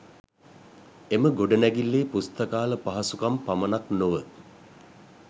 එම ගොඩනැගිල්ලේ පුස්තකාල පහසුකම් පමණක් නොව